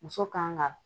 Muso kan ka